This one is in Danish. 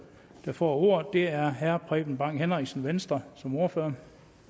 der får ordet er herre preben bang henriksen venstre som ordfører